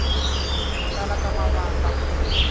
ku tala ka mavandla ku